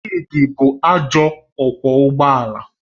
Chidi bụ ajọ ọkwọ ụgbọ ala